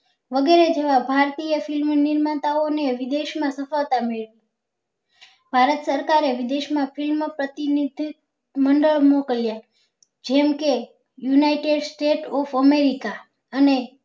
વગેરે જેવા ભારતીય film નિર્માતા ઓ ને વિદેશ માં સફળતા મળી ભારત સરકારે વિદેશ માં film પ્રતિનિધિત મંડળ મોકલ્યા જેમ કે united state of અને